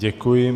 Děkuji.